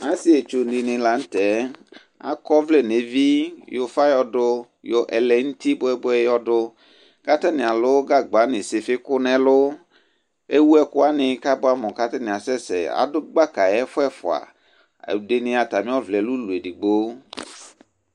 Asɩetsu dɩnɩ la nʋ tɛ, akɔ ɔvlɛ nʋ evi, yɔ ʋfa yɔdʋ, yɔ ɛlɛ nʋ uti bʋɛ-bʋɛ yɔdʋ, kʋ atanɩ alʋ gagba nʋ ɩsɩfɩkʋ nʋ ɛlʋ, ewu ɛkʋ wanɩ kʋ abʋɛ amʋ kʋ atanɩ asɛsɛ, adʋ gbaka ɛfʋ ɛfʋa, ɛdɩnɩ atamɩ ɔvlɛ yɛ lɛ ʋlɔ edigbo